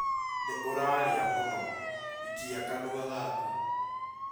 Nĩ ũrarĩa mũno. Ikia kanua gaku